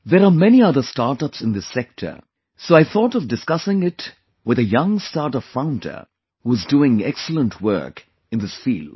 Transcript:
There are many other startups in this sector, so I thought of discussing it with a young startup founder who is doing excellent work in this field